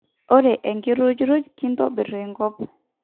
ore enkirujruj kitobir enkop